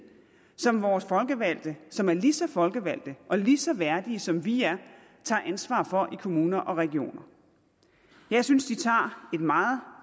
som vores folkevalgte som er lige så folkevalgte og lige så værdige som vi er tager ansvar for i kommuner og regioner jeg synes de tager et meget